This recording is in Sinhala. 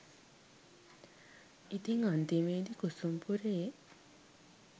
ඉතින් අන්තිමේදි කුසුම් පුරයේ